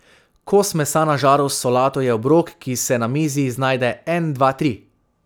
Kos mesa na žaru s solato je obrok, ki se na mizi znajde en, dva, tri.